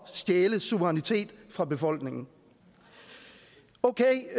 stjæle suverænitet fra befolkningen okay